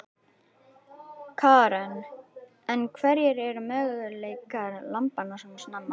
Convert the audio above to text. Karen: En hverjir eru möguleikar lambanna svona snemma?